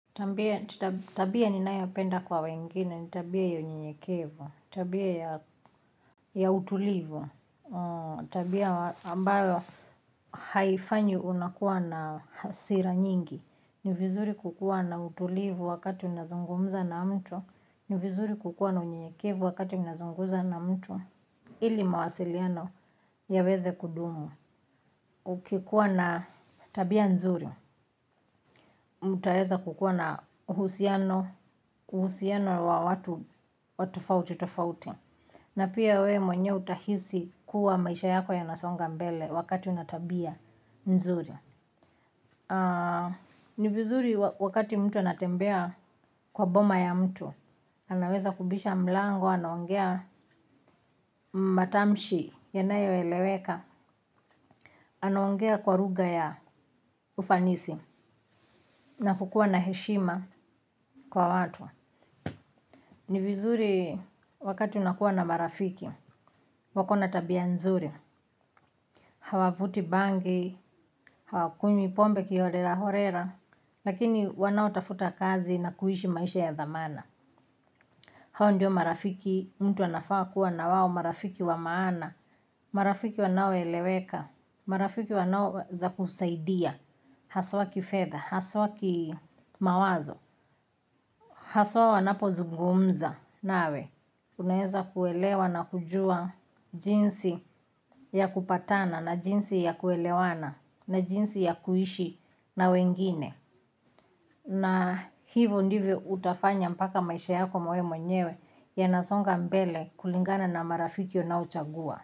Tabia ninayopenda kwa wengine, ni tabia ya unyenyekevu, tabia ya ya utulivu, tabia ambayo haifanyi unakuwa na hasira nyingi, ni vizuri kukuwa na utulivu wakati unazungumza na mtu, ni vizuri kukuwa na unyenyekevu wakati unazungumza na mtu. Ili mawasiliano yaweze kudumu. Ukikuwa na tabia nzuri, mtaweza kukuwa na uhusiano, uhusiano wa watu tofauti, tofauti. Na pia wewe mwenyewe utahisi kuwa maisha yako yanasonga mbele wakati una tabia nzuri. Ni vizuri wakati mtu anatembea kwa boma ya mtu. Anaweza kubisha mlango, anaongea matamshi, yanayo eleweka. Anaongea kwa lugha ya ufanisi na kukuwa na heshima kwa watu ni vizuri wakati unakuwa na marafiki wako na tabia nzuri hawa vuti bangi hawa kunywi pombe kihorera horera lakini wanao tafuta kazi na kuishi maisha ya dhamana hawa ndio marafiki mtu anafaa kuwa na wao marafiki wa maana marafiki wanaoeleweka marafiki wanaoweza kusaidia haswa kifedha haswa kimawazo haswa wanapozungumza nawe unaweza kuelewa na kujua jinsi ya kupatana na jinsi ya kuelewana na jinsi ya kuishi na wengine. Na hivyo ndivyo utafanya mpaka maisha yako wewe mwenyewe yanasonga mbele kulingana na marafiki unaochagua.